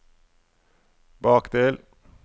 bakdel